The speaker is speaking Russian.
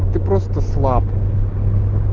ты просто слаб